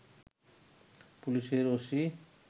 পুলিশের ওসি